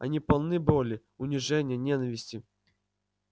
они полны боли унижения ненависти